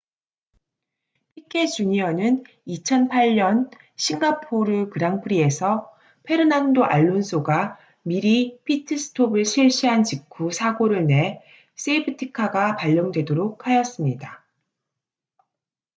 피케 주니어는 2008년 싱가포르 그랑프리에서 페르난도 알론소가 미리 피트스톱을 실시한 직후 사고를 내 세이프티카가 발령되도록 하였습니다